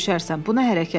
Sabah döyüşərsən.